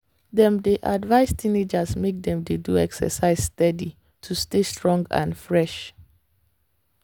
dem dey advise teenagers make dem dey do exercise steady to stay strong and fresh.